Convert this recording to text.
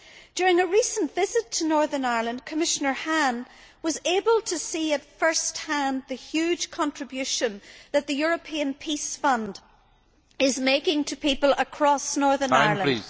During a recent visit to Northern Ireland, Commissioner Hahn was able to see at first hand the huge contribution that the European Peace Fund is making to people across Northern Ireland.